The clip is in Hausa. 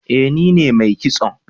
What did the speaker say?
Eh ni ne mai kison